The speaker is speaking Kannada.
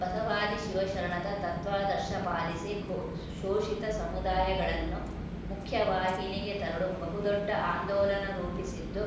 ಬಸವಾದಿ ಶಿವಶರಣದ ತತ್ವಾದರ್ಶ ಪಾಲಿಸಿ ಘೊ ಶೋಷಿತ ಸಮುದಾಯಗಳನ್ನು ಮುಖ್ಯವಾಹಿನಿಗೆ ತರಲು ಬಹುದೊಡ್ಡ ಆಂದೋಲನ ರೂಪಿಸಿದ್ದು